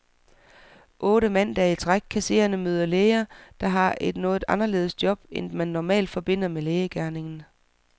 Otte mandage i træk kan seerne møde læger, der har et noget anderledes job, end det man normalt forbinder med lægegerningen.